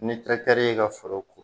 Ni terikɛ y'e ka foro